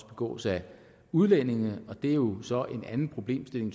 begås af udlændinge og det er jo så typisk en anden problemstilling